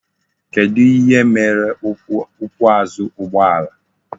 Kedu ihe mere ukwu azu ugbo ala?